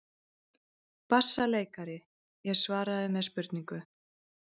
BASSALEIKARI: Ég svaraði með spurningu.